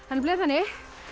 nefnilega þannig